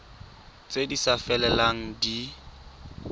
tse di sa felelang di